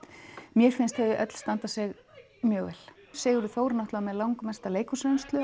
mér finnst þau öll standa sig mjög vel Sigurður Þór er náttúrulega með langmesta